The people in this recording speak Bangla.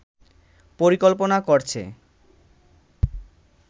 পরিকল্পনা করছে